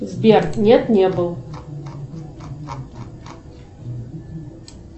сбер нет не был